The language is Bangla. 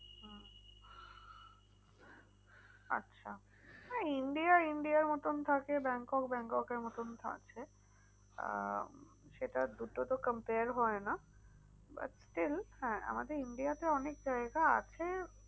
আচ্ছা India India র মতন থাকে ব্যাংকক, ব্যাংককের মতন থাকছে। আহ সেটা দুটো তো compare হয় না। but still হ্যাঁ আমাদের India তে অনেক জায়গা আছে।